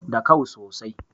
Da kau sosai